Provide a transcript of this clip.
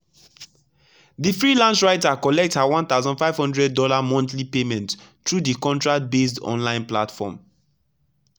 the freelance writer collect her one thousand five hundred dollars monthly payment through the contract-based online platform.